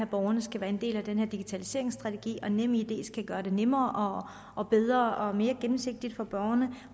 borgerne skal være en del af den her digitaliseringsstrategi og nemid skal gøre det nemmere og bedre og mere gennemsigtigt for borgerne